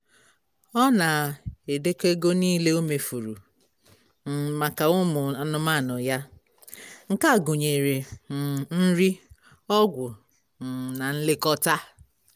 ọ na-edekọ ego nile o mefuru um maka ụmụ anụmanụ ya. nke a gụnyere um nri ọgwụ um na nlekọta